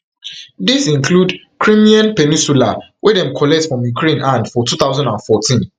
dis include crimean peninsula wey dem collect from ukraine hand for two thousand and fourteen